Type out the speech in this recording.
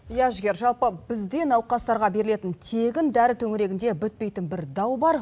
иә жігер жалпы бізде науқастарға берілетін тегін дәрі төңірегінде бітпейтін бір дау бар